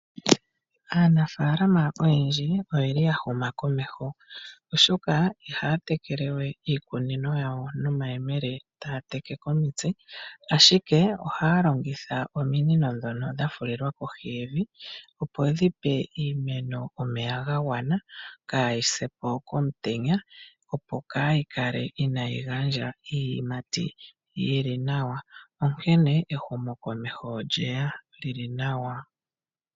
Aanafaalama oyendji oyeli ya huma komeho , oshoka ihaya tekele we iikunino yawo nomayemele taya teke komitse, ashike ohaya longitha ominino ndhono dha fulilwa kohi yevi opo dhi pe iimeno omeya ga gwana kaayi se po komutenya, opo kaayi kale inaayi gandja iiyimati yili nawa. Onkene ehumokomeho olyeya li li nawa.